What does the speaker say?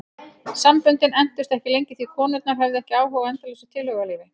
Samböndin entust ekki lengi því konurnar höfðu ekki áhuga á endalausu tilhugalífi.